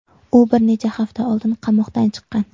U bir necha hafta oldin qamoqdan chiqqan.